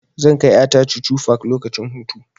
Zan kai ƴa ta chuchu park lokacin hutu.